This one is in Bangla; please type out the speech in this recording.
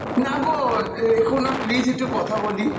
না গো রেখো না please একটু কথা বলি